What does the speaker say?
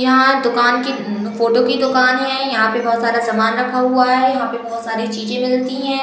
यहाँ दुकान की फोटो की दुकान है। यहाँ पर बहोत सारा सामान रखा हुआ है। यहाँ पर बहोत साड़ी चीजें मिलती हैं।